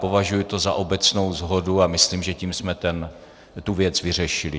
Považuji to za obecnou shodu a myslím, že tím jsme tu věc vyřešili.